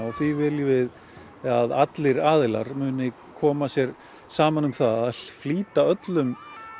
því viljum við að allir aðilar muni koma sér saman um það að flýta öllum